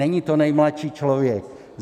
Není to nejmladší člověk.